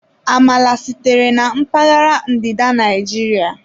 Amala sitere na mpaghara ndịda Naijiria.